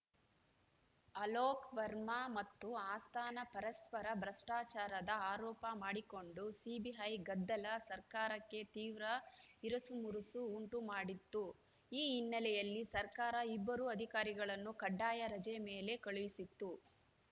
ಅಲೋಕ್‌ ವರ್ಮಾ ಮತ್ತು ಅಸ್ಥಾನಾ ಪರಸ್ಪರ ಭ್ರಷ್ಟಾಚಾರದ ಆರೋಪ ಮಾಡಿಕೊಂಡು ಸಿಬಿಐ ಗದ್ದಲ ಸರ್ಕಾರಕ್ಕೆ ತೀವ್ರ ಇರಸುಮುರಸು ಉಂಟು ಮಾಡಿತ್ತು ಈ ಹಿನ್ನೆಲೆಯಲ್ಲಿ ಸರ್ಕಾರ ಇಬ್ಬರೂ ಅಧಿಕಾರಿಗಳನ್ನು ಕಡ್ಡಾಯ ರಜೆ ಮೇಲೆ ಕಳುಹಿಸಿತ್ತು